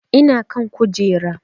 Ina kan kujera